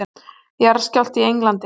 Jarðskjálfti í Englandi